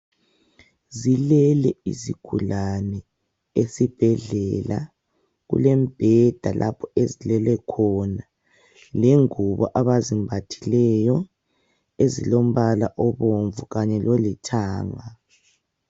Zilele izigulani esibhedlela, kulembeda lapho ezilele khona, lengubo abazimbathileyo ezilombala obomvu kanye lolithanga.